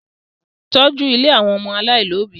Tọ́jú ilé àwọn ọmọ aláìlóbi!